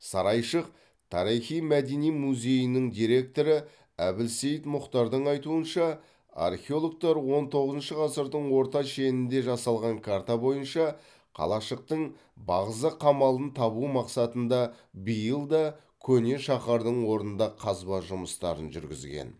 сарайшық тарихи мәдени музейінің директоры әбілсейт мұхтардың айтуынша археологтар он тоғызыншы ғасырдың орта шенінде жасалған карта бойынша қалашықтың бағзы қамалын табу мақсатында биыл да көне шаһардың орнында қазба жұмыстарын жүргізген